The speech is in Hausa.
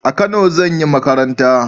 A kano zan yi makaranta